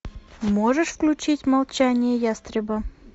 можешь включить молчание ястреба